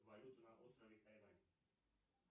валюта на острове тайвань